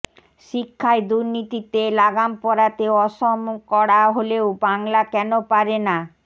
শিক্ষায় দুর্নীতিতে লাগাম পরাতে অসম কড়া হলেও বাংলা কেন পারে না